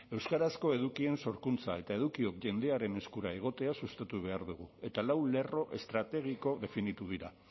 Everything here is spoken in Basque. euskarazko edukien sorkuntza eta edukiok jendearen eskura egotea sustatu behar dugu eta lau lerro estrategiko definitu dira